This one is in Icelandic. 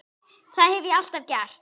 Það hef ég alltaf gert.